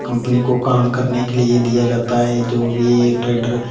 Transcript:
company को काम करने के लिए दिया जाता है जो भी ये ट्रैक्टर --